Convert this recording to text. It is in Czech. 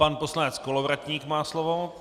Pan poslanec Kolovratník má slovo.